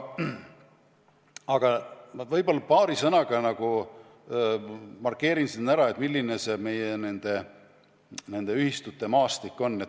Aga ma paari sõnaga markeerin siin ära, milline meie ühistute maastik on.